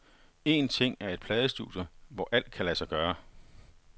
Én ting er et pladestudie, hvor alt kan lade sig gøre.